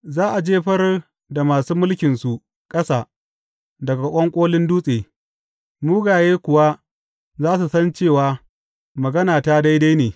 Za a jefar da masu mulkinsu ƙasa daga ƙwanƙolin dutse, mugaye kuwa za su san cewa maganata daidai ne.